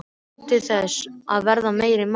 Nú, til þess að verða meiri maður.